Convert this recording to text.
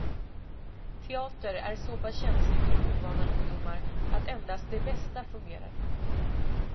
Teater är så pass känsligt för ovana ungdomar att endast det bästa fungerar.